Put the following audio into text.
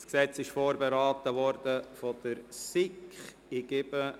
Das Geschäft wurde von der SiK vorberaten.